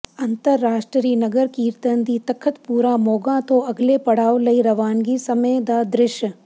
ਅੰਤਰਰਾਸ਼ਟਰੀ ਨਗਰ ਕੀਰਤਨ ਦੀ ਤਖ਼ਤਪੂਰਾ ਮੋਗਾ ਤੋਂ ਅਗਲੇ ਪੜਾਅ ਲਈ ਰਵਾਨਗੀ ਸਮੇਂ ਦਾ ਦ੍ਰਿਸ਼